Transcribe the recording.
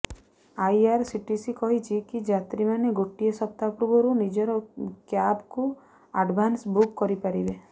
IRCTC କହିଛି କି ଯାତ୍ରୀମାନେ ଗୋଟିଏ ସପ୍ତାହ ପୂର୍ବରୁ ନିଜର କ୍ୟାବକୁ ଆଡଭାନ୍ସ ବୁକ୍ କରି ପାରିବେ